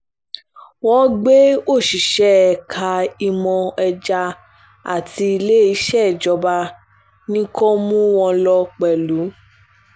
wọ́n gbé òṣìṣẹ́ ẹ̀ka ìmọ̀ ẹja tí iléeṣẹ́ ìjọba ní kó mú wọn lọ pẹ̀lú